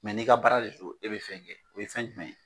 Mɛ n'i ka baara de so e bɛ fɛn kɛ o ye fɛn jumɛn ye